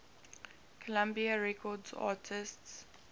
columbia records artists